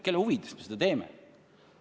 Kelle huvides me seda teeme?